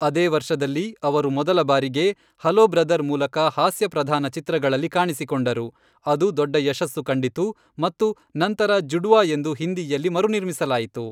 ಅದೇ ವರ್ಷದಲ್ಲಿ, ಅವರು ಮೊದಲ ಬಾರಿಗೆ ಹಲೋ ಬ್ರದರ್ ಮೂಲಕ ಹಾಸ್ಯಪ್ರಧಾನ ಚಿತ್ರಗಳಲ್ಲಿ ಕಾಣಿಸಿಕೊಂಡರು, ಅದು ದೊಡ್ಡ ಯಶಸ್ಸು ಕಂಡಿತು, ಮತ್ತು ನಂತರ ಜುಡ್ವಾ ಎಂದು ಹಿಂದಿಯಲ್ಲಿ ಮರುನಿರ್ಮಿಸಲಾಯಿತು.